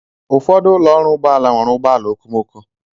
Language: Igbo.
Ụfọdụ ụlọ ọrụ ụgbọ ala nwere ụgbọ ala okomoko.